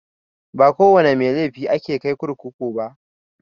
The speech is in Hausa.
Ba kowana mai laifi ake kai kurkuku ba.